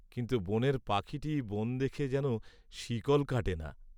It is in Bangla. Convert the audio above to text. কিন্তু বনের পাখীটি বন দেখে যেন শিকল কাটে না।